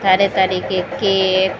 सारे तरीके के --